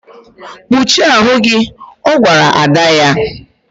Kpuchie ahụ gị! Ọ gwara ada ya.